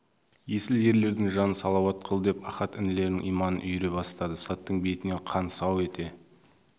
есіл ерлердің жанын салауат қыл деп ахат інілерінің иманын үйіре бастады солдаттың бетінен қан сау ете